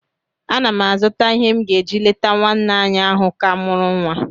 Ana m azụta ihe m ga-eji leta nwanyị ahụ ka mụrụ nwa